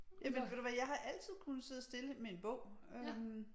Jamen ved du hvad jeg har altid kunnet sidde stille med en bog øh